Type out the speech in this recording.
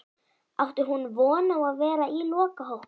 Átti hún von á að vera í lokahópnum?